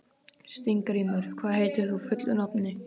Steingrímur, hvað heitir þú fullu nafni?